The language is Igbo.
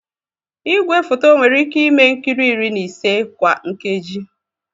Igwefoto nwere ike ime nkiri iri na isii kwa nkeji.